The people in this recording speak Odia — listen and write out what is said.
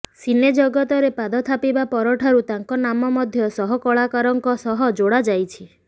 ସିନେଜଗତରେ ପାଦ ଥାପିବା ପରଠାରୁ ତାଙ୍କ ନାମ ମଧ୍ୟ ସହକଳାକାରଙ୍କ ସହ ଯୋଡ଼ା ଯାଇଛି